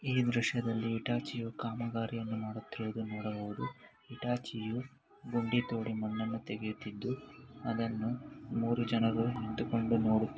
ಈ ದೃಶ್ಯದಲ್ಲಿ ಹಿಟಾಚಿಯು ಕಾಮಗಾರಿಯನ್ನು ಮಾಡುತ್ತಿರುವುದನ್ನು ನೊಡಬಹುದು ಹಿಟಾಚಿಯು ಗುಂಡಿತೊಡು ಮಣ್ಣನ್ನು ತೆಗೆಯುತ್ತಿದ್ದು ಅದನ್ನು ಮೂರು ಜನರು ನಿಂತುಕೊಂಡು ನೊಡುತಿ --